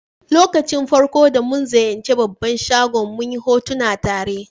Lokacin farko'n da mun ziyace babban shagon, mun yi hotuna tare.